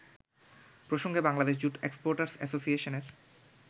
প্রসঙ্গে Bangladesh jute exporters অ্যাসোসিয়েশনের